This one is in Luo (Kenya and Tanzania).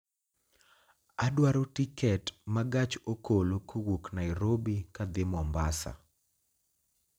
Adwaro tiket ma gach okolo kowuok Nairobi kadhi Mombasa